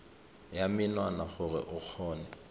ya menwana gore o kgone